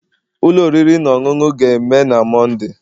Ụlọ oriri na ọṅụṅụ ga-eme na Monday.